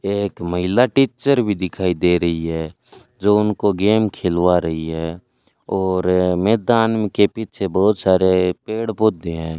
यह एक महिला टीचर भी दिखाई दे रही है जो उनको गेम खिलवा रही है और मैदान के पीछे बहुत सारे पेड़ पौधे हैं।